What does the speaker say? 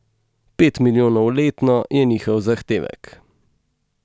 Pet milijonov letno je njihov zahtevek.